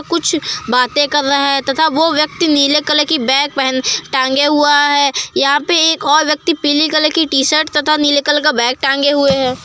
कुछ बातें कर रहा है तथा वो व्यक्ति नीले कलर की बैग पह टांगे हुआ है। यहां पर एक और व्यक्ति पीले कलर की शर्ट तथा नीले कलर का बैग टांगे हुए है।